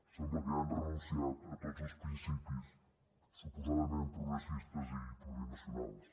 sembla que han renunciat a tots els principis suposadament progressistes i plurinacionals